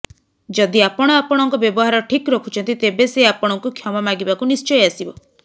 ଯଦି ଆପଣ ଆପଣଙ୍କ ବ୍ୟବହାର ଠିକ୍ ରଖୁଛନ୍ତି ତେବେ ସେ ଆପଣଙ୍କୁ କ୍ଷମା ମାଗିବାକୁ ନିଶ୍ଚୟ ଆସିବ